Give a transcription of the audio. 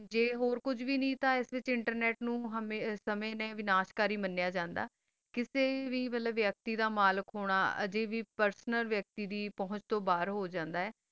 ਜਾ ਹੋਰ ਕੁਛ ਨਹੀ ਤਾ ਅਸ ਵਿਤਚ internet ਵਾਨਿਸ਼ ਕਰੀ ਮਾਲਾ ਜਾਂਦਾ ਕਿਸਾ ਵੀ ਵਾਲਾ ਵਾਖਾਤੀ ਦਾ ਮਲਿਕ ਹੋਵਾ ਕਾਸਾ ਵੀ ਪੇਰ੍ਸੋਨਲ ਵਾਖਾਤੀ ਦਾ ਮੈਲਕ ਹੋ ਸਕਦਾ ਆ